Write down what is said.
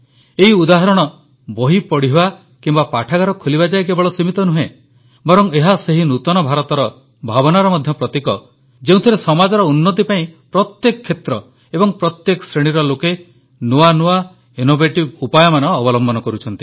ଏହି ଉଦାହରଣ ବହି ପଢ଼ିବା କିମ୍ବା ପାଠାଗାର ଖୋଲିବା ଯାଏ କେବଳ ସୀମିତ ନୁହେଁ ବରଂ ଏହା ସେହି ନୂତନ ଭାରତର ଭାବନାର ମଧ୍ୟ ପ୍ରତୀକ ଯେଉଁଥିରେ ସମାଜର ଉନ୍ନତି ପାଇଁ ପ୍ରତ୍ୟେକ କ୍ଷେତ୍ର ଏବଂ ପ୍ରତ୍ୟେକ ଶ୍ରେଣୀର ଲୋକେ ନୂଆ ନୂଆ ଏବଂ ଇନୋଭେଟିଭ୍ ଉପାୟ ଅବଲମ୍ବନ କରୁଛନ୍ତି